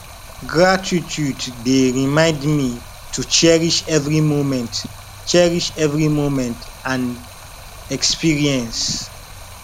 gratitude dey remind me to cherish every moment cherish every moment and experience